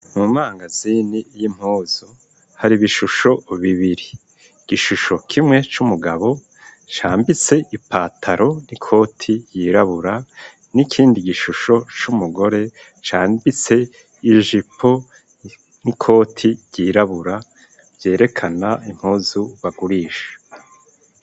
Mu mangazini y'impuzu hari bishusho bibiri gishusho kimwe c'umugabo cambitse ipataro n'ikoti yirabura n'ikindi gishusho c'umugore cambitse ijipo n'ikoti yirabura vyerekana impuzu bagurisha.